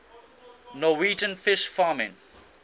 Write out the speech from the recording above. norwegian fish farming